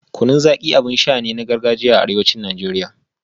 Kunun Zaki abin sha ne na gargajiyar arewacin Najeriya